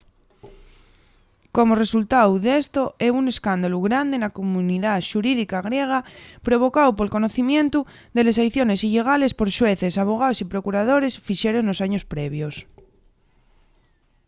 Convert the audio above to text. como resultáu d’esto hebo un escándalu grande na comunidá xurídica griega provocáu pol conocimientu de les aiciones illegales que xueces abogaos y procuradores fixeron nos años previos